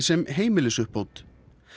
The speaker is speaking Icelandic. sem heimilisuppbót